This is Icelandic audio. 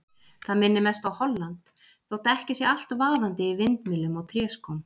Það minnir mest á Holland þótt ekki sé allt vaðandi í vindmyllum og tréskóm.